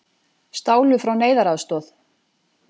Stálu frá neyðaraðstoð